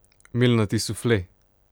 Milnati sufle?